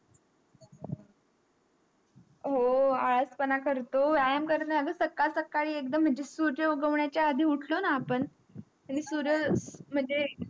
हो आज पण करतो व्यायाम करण्या सकाळ सकाळी माझे एक्दम सूर्य उडवण्या च्या आधी एक्दम उठलो ना आपण तर सुरज माझे